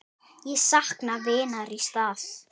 Ég sakna vinar í stað.